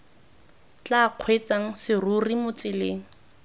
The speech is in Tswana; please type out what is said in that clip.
tla kgweetsang serori mo tseleng